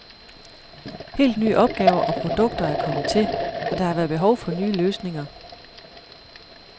Helt nye opgaver og produkter er kommet til, og der har været behov for nye løsninger.